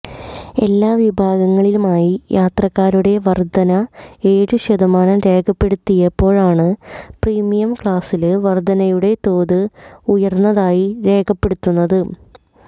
എല്ലാ വിഭാഗങ്ങളിലുമായി യാത്രക്കാരുടെ വര്ധന ഏഴു ശതമാനം രേഖപ്പെടുത്തിയപ്പോഴാണ് പ്രീമിയം ക്ലാസില് വര്ധനയുടെ തോത് ഉയര്ന്നതായി രേഖപ്പെടുത്തുന്നത്